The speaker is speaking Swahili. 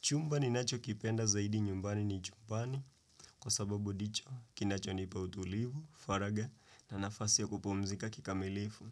Chumba ninacho kipenda zaidi nyumbani ni chumbani. Kwa sababu ndicho, kinacho nips utulivu, faraga na nafasi ya kupumzika kikamilifu.